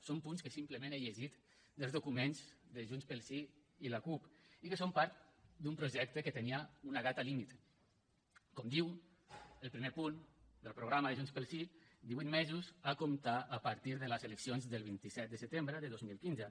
són punts que simplement he llegit dels documents de junts pel sí i la cup i que són part d’un projecte que tenia una data límit com diu el primer punt del programa de junts pel sí divuit mesos a comptar a partir de les eleccions del vint set de setembre de dos mil quinze